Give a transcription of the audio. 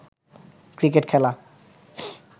cricket খেলা